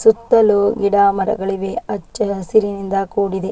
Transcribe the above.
ಸುತ್ತಲೂ ಗಿಡಮರಗಳಿವೆ ಹಚ್ಚ ಹಸಿರಿನಿಂದ ಕೂಡಿದೆ.